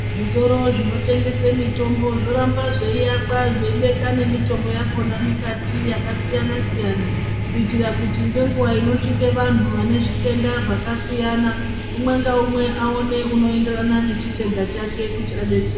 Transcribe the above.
Zvitoro zvinotengese mitombo, zvoramba zveyiyakwa zveyibeka nemitombo yakhona mikati yakasiyana siyana, kuyitire kuti ngenguwa inosvike vantu vanezvitenda zvakasiyana, umwe ngawumwe awone unoyenderana ngechitenda chake kuti adetsereke.